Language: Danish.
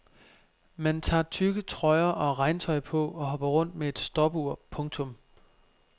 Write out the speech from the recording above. Man tager tykke trøjer og regntøj på og hopper rundt med et stopur. punktum